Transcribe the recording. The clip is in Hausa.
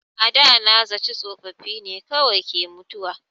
A da na zaci tsofaffi ne kawai ke mutuwa.